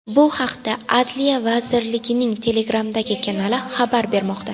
Bu haqda Adliya vazirligining Telegramdagi kanali xabar bermoqda .